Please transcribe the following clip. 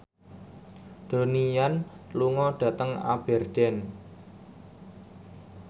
Donnie Yan lunga dhateng Aberdeen